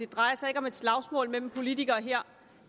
drejer sig om slagsmål mellem politikere her